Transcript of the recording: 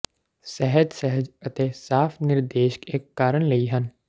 ਸਹਿਜ ਸਹਿਜ ਅਤੇ ਸਾਫ ਨਿਰਦੇਸ਼ ਇੱਕ ਕਾਰਨ ਲਈ ਹਨ